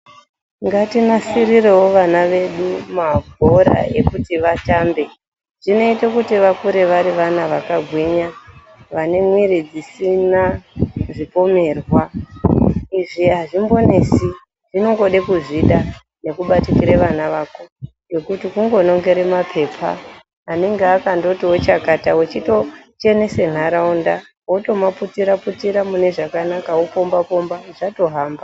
Ngatinasirirewo vana vedu mabhora ekuti vatambe zvinoite kuti vakure vari vana vakagwinya vane mwiri isina zvipomerwa izvi azvimbonesi zvinongode kuziya neku batikire vana vako nekuti kungonongere mapepa anenge akati chakata votochenese nharaunda votoma putira putira mune zvakanaka wo pomba pomba zvatohamba